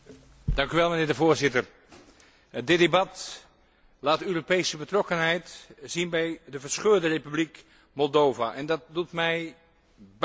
Voorzitter, dit debat laat de Europese betrokkenheid zien bij de verscheurde Republiek Moldavië, en dat doet mij buitengewoon goed.